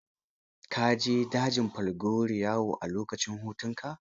Ka je dajin Falgore yawo, a lokacin hutunka.